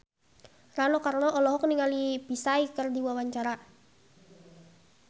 Rano Karno olohok ningali Psy keur diwawancara